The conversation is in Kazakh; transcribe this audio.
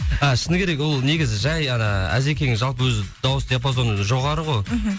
а шыны керек ол негізі жай ана әзекеңнің жалпы өзі дауыс диапазоны жоғары ғой мхм